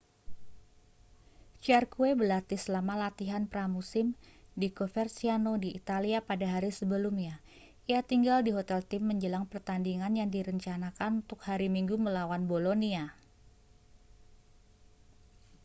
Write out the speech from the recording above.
jarque berlatih selama latihan pramusim di coverciano di italia pada hari sebelumnya ia tinggal di hotel tim menjelang pertandingan yang direncanakan untuk hari minggu melawan bolonia